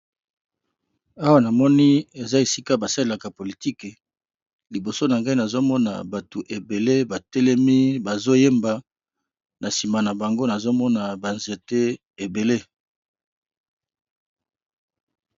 Awa namoni eza esika basalelaka politique liboso nangai namoni bato ebele ba telemi bazo yemba nasima nabango nazomona ba nzete ebele.